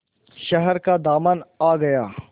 शहर का दामन आ गया